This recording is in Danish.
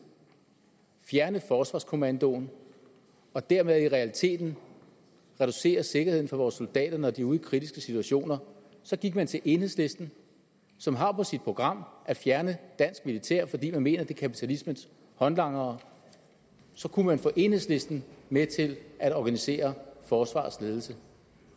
fjerne forsvarskommandoen og dermed i realiteten reducere sikkerheden for vores soldater når de er ude i kritiske situationer så gik man til enhedslisten som har på sit program at fjerne dansk militær fordi de mener det kapitalismens håndlanger så kunne man få enhedslisten med til at organisere forsvarets ledelse